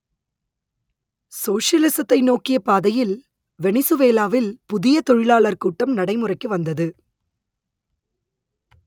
சோஷலிசத்தை நோக்கிய பாதையில் வெனிசுவேலாவில் புதிய தொழிலாளர் கூட்டம் நடைமுறைக்கு வந்தது